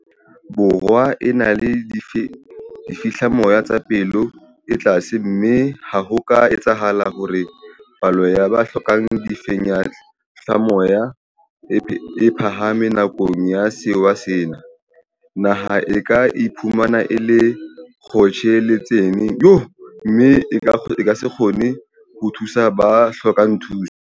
Borwa e na le difehlamoya tsa palo e tlase mme ha ho ka etsahala hore palo ya ba hlokang difehlamoya e phahame nakong ya sewa sena, naha e ka iphumana e le kgotjheletsaneng mme e sa kgone ho thusa ba hlokang thuso.